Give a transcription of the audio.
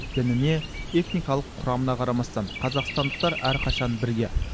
дініне этникалық құрамына қарамастан қазақстандықтар әрқашан бірге